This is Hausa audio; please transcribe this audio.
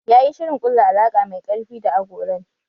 Ya yi shirin ƙulla alaƙa mai ƙarfi da agolan